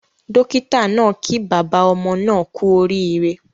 Dókítà naa kí bàbá ọmọ naa kú orí ire